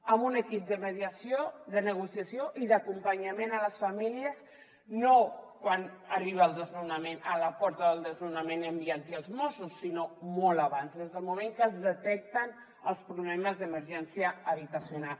amb un equip de mediació de negociació i d’acompanyament a les famílies no quan arriba el desnonament a la porta del desnonament enviant hi els mossos sinó molt abans des del moment que es detecten els problemes d’emergència habitacional